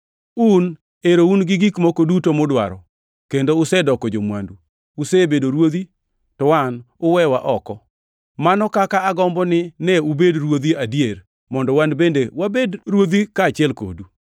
Un ero un gi gik moko duto mudwaro kendo usedoko jo-mwandu! Usebedo ruodhi, to wan uwewa oko! Mano kaka agombo ni ne ubed ruodhi adier mondo wan bende wabed ruodhi kaachiel kodu!